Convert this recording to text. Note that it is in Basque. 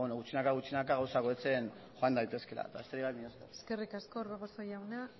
gutxinaka gutxinaka gauzak hobetzen joan daitezkeela eta besterik gabe mila esker eskerrik asko orbegozo jauna